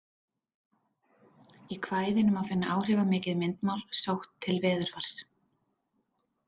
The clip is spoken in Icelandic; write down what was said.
Í kvæðinu má finna áhrifamikið myndmál sótt til veðurfars.